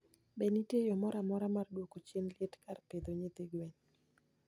Be nitie yo moro amora mar duoko chien liet kar pitdho nyithi gwen?